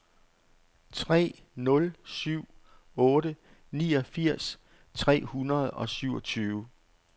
tre nul syv otte niogfirs tre hundrede og syvogtyve